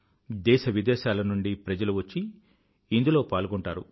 దేశ విదేశాలనుండీ ప్రజలు వచ్చి ఇందులో పాల్గొంటారు